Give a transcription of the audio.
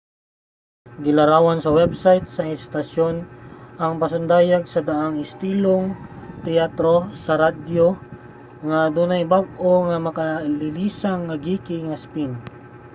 gilarawan sa web site sa istasyon ang pasundayag nga daang istilong teatro sa radyo nga adunay bag-o ug makalilisang nga geeky nga spin!